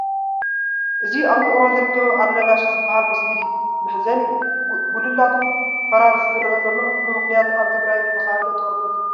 እዚ ኣብ ውቅሮ ዝርከብ ኣልነጋሽ ዝበሃል መስጊድ እዩ፡፡ መሕዘኒ እዩ፡፡ ጉልላቱ ፈራሪሱ ዝርአ ዘሎ ብምኽንያት ኣብ ትግራይ ዝተኻየደ ጦርነት እዩ፡፡